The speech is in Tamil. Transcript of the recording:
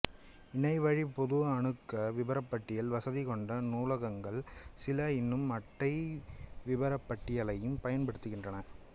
இணையவழிப் பொது அணுக்க விபரப்பட்டியல் வசதி கொண்ட நூலகங்கள் சில இன்னும் அட்டை விபரப்பட்டியலையும் பயன்படுத்துகின்றன